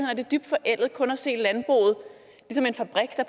er det dybt forældet kun at se landbruget som en fabrik der